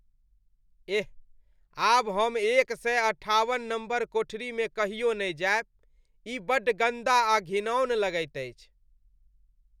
एह! आब हम एक सए अठाबन नम्बर कोठरीमे कहियो नहि जायब। ई बड्ड गन्दा आ घिनाऔन लगैत अछि।